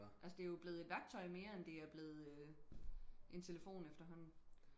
altså det er jo blevet et værktøj mere end det er blevet en telefon efterhånden